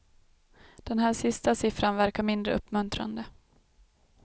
Den här sista siffran verkar mindre uppmuntrande.